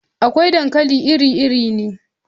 Akwai dankali iri-iri ne.